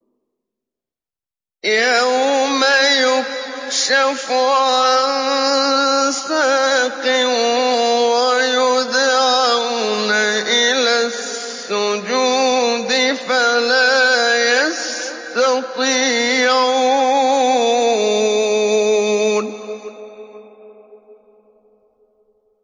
يَوْمَ يُكْشَفُ عَن سَاقٍ وَيُدْعَوْنَ إِلَى السُّجُودِ فَلَا يَسْتَطِيعُونَ